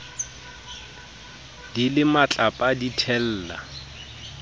di le matlapa di thella